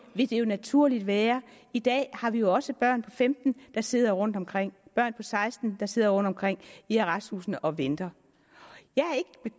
vil det jo naturligt være i dag har vi jo også børn på femten år der sidder rundtomkring børn på seksten år der sidder rundtomkring i arresthusene og venter